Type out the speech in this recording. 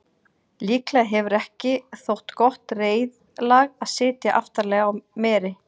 líklega hefur ekki þótt gott reiðlag að sitja aftarlega á meri